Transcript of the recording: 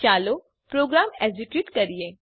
ચાલો program execute કરીએ